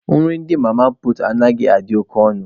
Nri ndị mama puutu anaghịkwa adị oke ọnụ